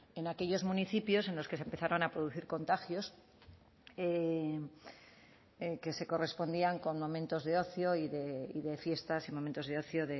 en aquellos municipios en los que se empezaron a producir contagios que se correspondían con momentos de ocio y de fiestas y momentos de ocio